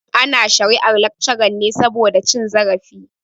Ana shari'ar laccaran ne saboda cin zarafi.